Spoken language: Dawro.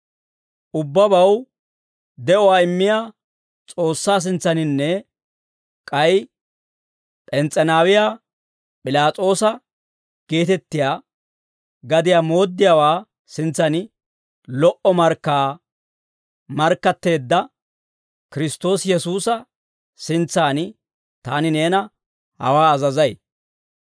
Ubbabaw de'uwaa immiyaa S'oossaa sintsaaninne, k'ay P'ens's'eenaawiyaa P'ilaas'oosa geetettiyaa gadiyaa mooddiyaawaa sintsan lo"o markkaa markkatteedda Kiristtoosi Yesuusa sintsan taani neena hawaa azazay.